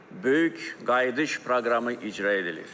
böyük qayıdış proqramı icra edilir.